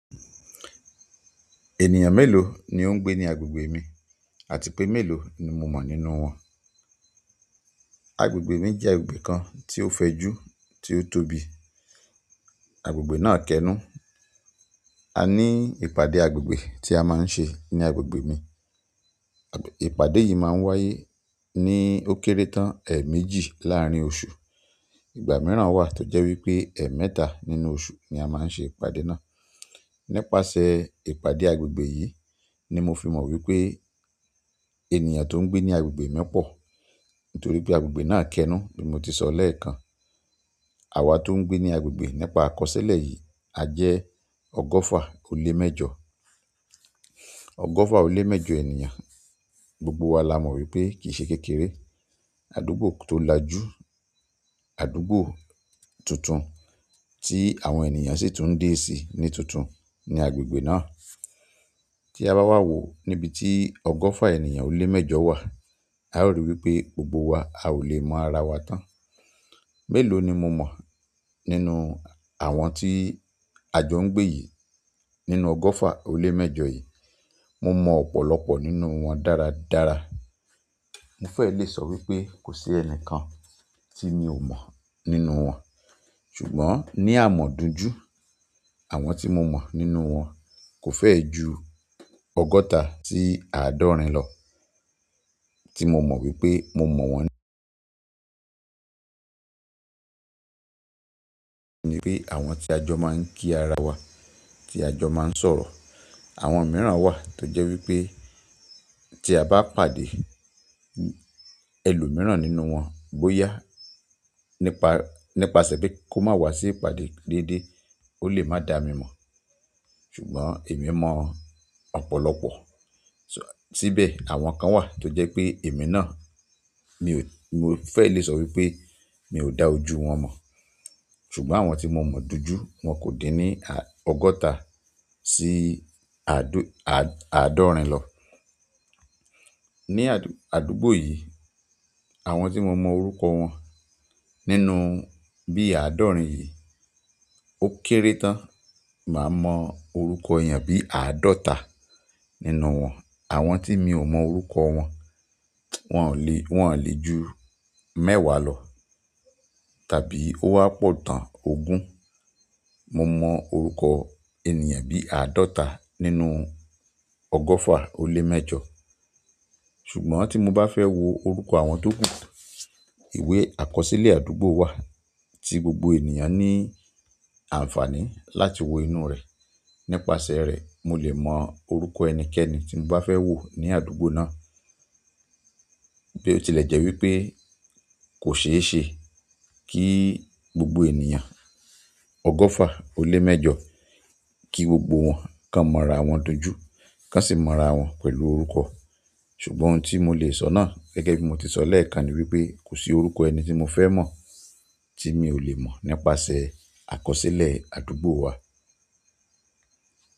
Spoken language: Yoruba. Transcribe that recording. Ènìyàn mélòó ni ó ń gbé ní agbègbè mi àti pé mélòó ni mo mọ̀ nínú wọn? Agbègbè mi jẹ́ agbègbè kan tí ó fẹjú, tí ó tóbi. Agbègbè náà kẹ́nu. A ní ìpàdé agbègbè tí a máa ń ṣe ní agbègbè mi. Ìpàdé yìí máa ń wáyé ní ó kéré tán, ẹ̀méjì láàárín oṣù. Ìgbà mìíràn wà tó jẹ́ wí pé ẹ̀ mẹ́ta nínú oṣù ni a máa ń ṣe ìpàdé náà. Nípasẹ̀ ìpàdé agbègbè yìí ni mo fi mọ̀ wí pé ènìyàn tó ń gbé ní agbègbè mi pọ̀. Nítorí pé agbègbè náà kẹ́nu bí mo ti sọ lẹ́ẹ̀kan. Àwa tó ń gbé ní agbègbè nípa àkọsílẹ̀ yìí a jẹ́ ọgọ́fà-ó-lé-méjọ. Ọgọ́fà-ó-lé-méjọ ènìyàn, gbogbo wa la mọ̀ wí pé kì í ṣe kékeré. Àdúgbò tó láju, àdúgbò tuntun tí àwọn ènìyàn sì tún ń dé sí ní tuntun ní agbègbè náà. Tí a bá wá wò níbi tí ọgọ́fà ènìyàn ó lé méjọ wà, a ó rí i wí pé gbogbo wa a ò lè mọ ara wa tán. Mélòó ni mo mọ̀ nínú àwọn tí ajọ ń gbé yìí, nínú ọgọ́fà-ó-lé-méjọ yìí? Mo mọ̀ ọ̀pọ̀lọpọ̀ nínú wọn dáradára. Mo fẹ́ lè sọ wí pé kò sí ẹni kan tí mi ò mọ̀ nínú wọn. Ṣùgbọ́n ní à mọ̀ duju, àwọn tí mo mọ̀ nínú wọn kò fẹ́ẹ́ ju ọgọ́ta sí àádọ́rin lọ tí mo mọ̀ wí pé mo mọ̀ wọ́n. Ni pé àwọn tí ajọ máa ń kí ara wa, tí ajọ máa ń sọ̀rọ̀. Àwọn mìíràn wà tó jẹ́ wí pé tí a bá pàdé ẹlòmíràn nínú wọn bóyá nípa, nípasẹ̀ pé kó má wá sí ìpàdé déédéé, ó lè má da mi mọ̀. Ṣùgbọ́n èmi mọ̀ ọ̀pọ̀lọpọ̀. Tíbẹ̀ àwọn kan wà tó jẹ́ pé èmi náà mi ò, mo fẹ́ lè sọ wí pé mi ò dá ojú wọn mọ̀. Ṣùgbọ́n àwọn tí mo mọ̀ du ju wọn kò dín ní ọgọ́ta sí àádó-àádọ́rin lọ. Ni àdúgbò yìí, àwọn tí mo mọ̀ orúkọ wọn nínú bí àádọ́rin yìí ó kéré tán, màá mọ̀ orúkọ èèyàn bí àádọ́ta nínú wọn. Àwọn tí mi ò mọ̀ orúkọ wọn, wọn ò lè, wọn lè ju mẹ́wàá lọ tàbí ó wà pọ̀ tán ogún. Mo mọ̀ orúkọ ènìyàn bí àádọ́ta nínú ọgọ́fà-ó-lé-méjọ. Ṣùgbọ́n tí mo bá fẹ́ wo orúkọ àwọn tó kù, ìwé àkọsílẹ̀ àdúgbò wà tí gbogbo ènìyàn ní àǹfààní láti wo inú rẹ̀. Nípasẹ̀ rẹ̀ mo lè mọ̀ orúkọ ẹnikẹ́ni tí mo bá fẹ́ wò ní àdúgbò náà. Bí ọ tilẹ jẹ wípé kò ṣe ṣẹ, kí gbogbo ènìyàn ọgọfa ọ lé mẹ́jọ kí gbogbo wọn kàn mo ará wọn dojú, kọ sí mọ ará wọn pẹ̀lú orúkọ. Ṣùgbọ́n ohun tí mo lè sọ náà gẹ́gẹ́ bí mo ti sọ lẹ́ẹ̀kan ni wípé kò sí orúkọ ẹni tí mo fẹ́ mọ̀ tí mi ò lè mọ̀ nípasẹ̀ àkọsílẹ̀ àdúgbò wa.